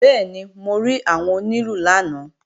Bẹ́ẹ̀ni, mo rí àwọn onílù lánàá